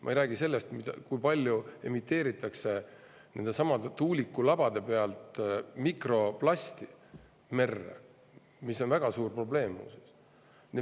Ma ei räägi sellest, kui palju nendesamade tuulikulabade pealt merre mikroplasti, mis on väga suur probleem, muuseas.